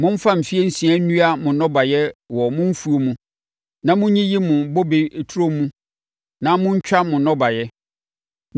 Momfa mfeɛ nsia nnua mo nnɔbaeɛ wɔ mo mfuo mu na monyiyi mo bobe turo mu na montwa mo nnɔbaeɛ.